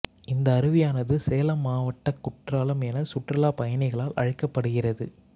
இந்த அருவியானது சேலம் மாவட்டக் குற்றாலம் என சுற்றுலாப் பயணிகளால் அழைக்கப்படுகிறது